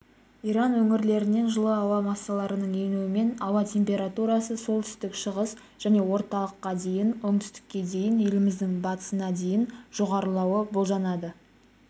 иран өңірлерінен жылы ауа массаларының енуімен ауа температурасы солтүстік шығыс және орталықта дейін оңтүстікте дейін еліміздің батысында дейін жоғарылауы болжанады